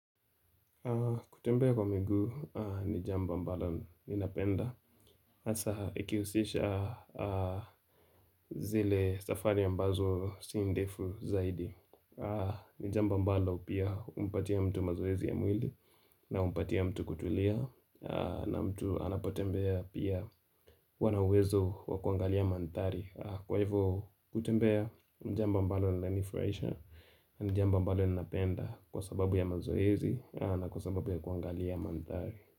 Kutembea kwa miguu ni jambo ambalo ninapenda hasa ikihusisha zile safari ambazo sindefu zaidi ni jambo ambalo pia humpatia mtu mazoezi ya mwili na humpatia mtu kutulia na mtu anapotembea pia huwa na uwezo wakuangalia manthari Kwa hivyo kutembea ni jambo ambalo linanifurahisha ni jambo ambalo napenda kwa sababu ya mazoezi na kwa sababu ya kuangali ya mandhari.